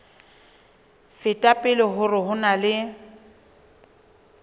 feta pele hore ho na